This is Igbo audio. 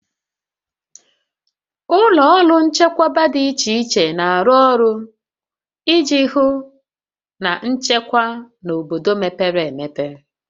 Ụlọ ọrụ nchekwa dị iche iche na-arụ ọrụ iji hụ na nchekwa na obodo mepere emepe